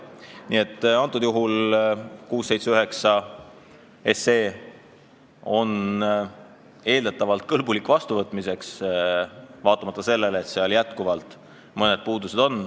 Nii et eelnõu 679 on eeldatavalt kõlblik vastuvõtmiseks, vaatamata sellele, et seal mõned puudused on.